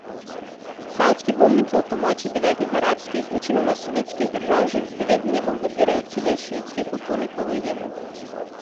Saudski bombniki ob pomoči devetih arabskih, večinoma sunitskih držav že devet dni bombardirajo cilje šiitskih upornikov v Jemnu.